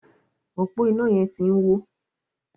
ọpo iná yén tí ń wọ.